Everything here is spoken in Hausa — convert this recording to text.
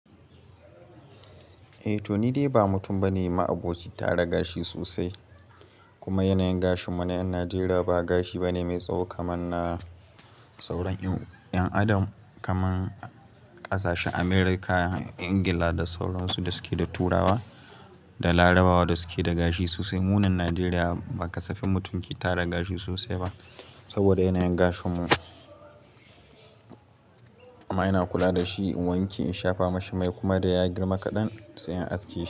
Eh Toni Dai ba mutum bane ma abocin tara gashi sosai kuma yanayin gashin mu na 'yan Najeriya ba gashi bane mai tsawo kamar na sauran 'yan adam kamar kasashen America, England da sauran su da suke da turawa da larabawa da suke da gashi sosai. Munan Najeriya ba ka safini mutum ke tara gashi sosai ba saboda yanayin gashin mu amma ina kula da shi in wanke, in shafa mashi mai kuma da ya girma kaɗan sai in aske.